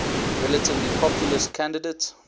relatively populist candidate